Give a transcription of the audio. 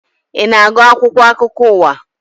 Ị na-agụ akwụkwọ akụkọ ụwa